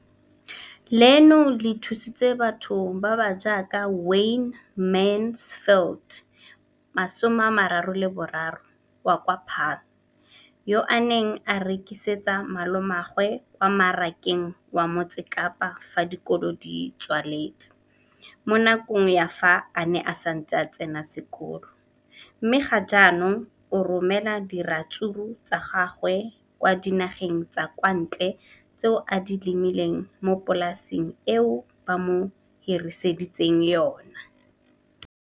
Leno le thusitse batho ba ba jaaka Wayne Mansfield, 33, wa kwa Paarl, yo a neng a rekisetsa malomagwe kwa Marakeng wa Motsekapa fa dikolo di tswaletse, mo nakong ya fa a ne a santse a tsena sekolo, mme ga jaanong o romela diratsuru tsa gagwe kwa dinageng tsa kwa ntle tseo a di lemileng mo polaseng eo ba mo hiriseditseng yona.